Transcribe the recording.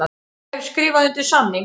Ég hef skrifað undir samning.